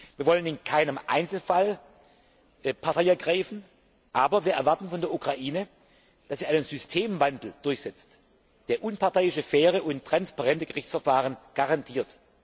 Wir wollen in keinem Einzelfall Partei ergreifen, aber wir erwarten von der Ukraine, dass sie einen Systemwandel durchsetzt, der unparteiische, faire und transparente Gerichtsverfahren garantiert.